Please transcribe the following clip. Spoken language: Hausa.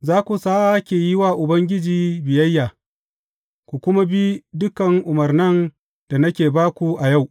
Za ku sāke yi wa Ubangiji biyayya, ku kuma bi dukan umarnan da nake ba ku a yau.